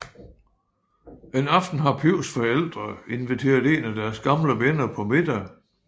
En aften har Pivs forældre inviteret en af deres gamle venner på middag